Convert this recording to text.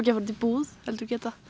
fara út í búð heldur geta